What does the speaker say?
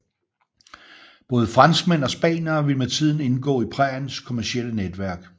Både franskmænd og spaniere ville med tiden indgå i præriens kommercielle netværk